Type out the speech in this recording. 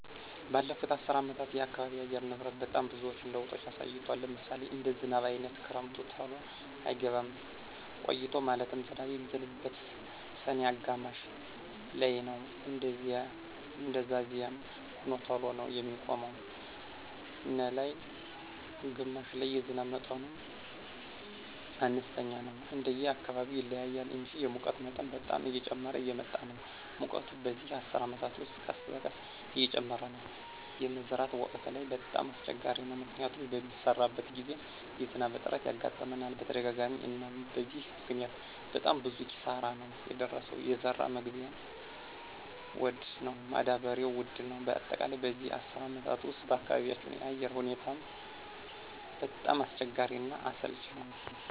በለፉት አሰር አመታት የአካባቢ አየር ንብረት በጣም ብዙዎች ለውጦች አሳይቷል። ለምሳሌ እንደ ዝናብ አይነት ክረምቱ ተሎ አይገባም ቆይቶ ማለትም ዝናብ የሚዝንበው ሰኔ አጋማሽ ላይነው እንደዛዚያም ሆኖ ተሎ ነው የሚቆመው ነላይ ግማሽ ላይ የዝናብ መጠኑም አነስተኛ ነው እንደየ አካባቢው ይለያያል እንጂ። የሙቀት መጠን በጣም እየጨመረ እየመጣ ነው ሙቀቱ በዚህ አስር አመት ውስጥ ቀስበቀስ እየጨመረ ነው። የመዝራት ወቅት ላይ በጣም አሰቸጋሪ ነው። ምክንያቱም በሚሰራበት ግዜ የዝናብ እጥረት ያጋጥመናል በተደጋጋሚ አናም በዚህ ምክኒያት በጣም ብዙ ኪሳራ ነው የደረሰው የዘራ መግዢያ ወድ ነው ማዳበሪው ውድ ነው በአጠቃላይ በዚህ አስር አመት ውስጥ በአካባቢያቸው አየር ሁኔታው በጣም አስቸጋሪ እና አሰልች ነወ።